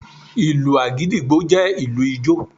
Ìlù Àgídìgbo jẹ́ ìlù ijó.